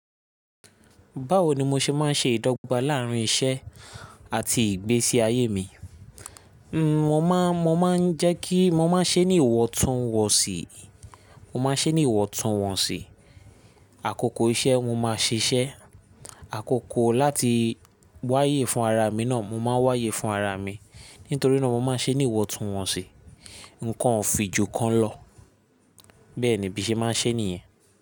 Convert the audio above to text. Báwo ni mo ṣe máa ń ṣe ìdọ́gba láàrín iṣẹ́ àti ìgbésí ayé mi? N ò má, mo máa ń jẹ́ kí, mo máa ń ṣe ní ìwọ̀ntúnwọ̀nsì, mo máa ń ṣe ní ìwọ̀ntúnwọ̀nsì. Àkókò iṣẹ́ mo máa ṣiṣẹ́, àkókò láti wáyé fún ara mi náà mo máa ń wáyé fún ara mi. Nítorí náà mo máa ń ṣe ní ìwọ̀ntúnwọ̀nsì. Ǹkan ò fi jù kan lọ. Bẹ́ẹ̀ ni bí ṣe máa ń ṣe nìyẹn.